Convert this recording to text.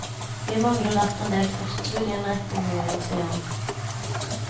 Vi mangler derfor endel postbud i en rekke områder, sier han.